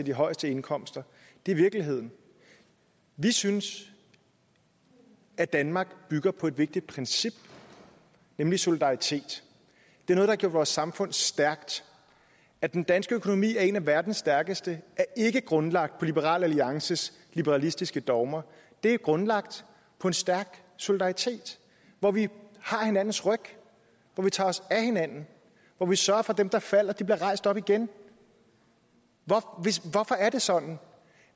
de højeste indkomster det er virkeligheden vi synes at danmark bygger på et vigtigt princip nemlig solidaritet det er noget der vores samfund stærkt at den danske økonomi er en af verdens stærkeste er ikke grundlagt på liberal alliances liberalistiske dogmer det er grundlagt på en stærk solidaritet hvor vi har hinandens ryg hvor vi tager os af hinanden hvor vi sørger for at dem der falder bliver rejst op igen hvorfor er det sådan